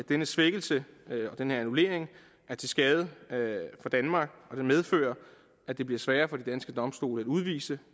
denne svækkelse denne annullering er til skade for danmark og den medfører at det bliver sværere for de danske domstole at udvise